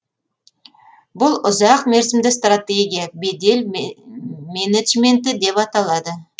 бұл ұзақ мерзімді стратегия бедел менеджменті деп аталады